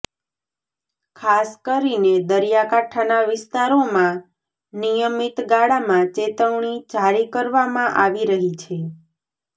ખાસ કરીને દરિયાકાંઠાના વિસ્તારોમાં નિયમિત ગાળામાં ચેતવણી જારી કરવામાં આવી રહી છે